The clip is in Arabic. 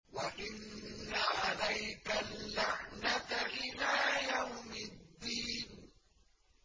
وَإِنَّ عَلَيْكَ اللَّعْنَةَ إِلَىٰ يَوْمِ الدِّينِ